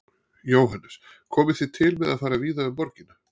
Jóhannes: Komið þið til með að fara víða um borgina?